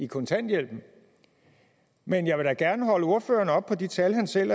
kontanthjælpen men jeg vil da gerne holde ordføreren oppe på de tal han selv